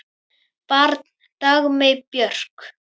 Barn Dagmey Björk.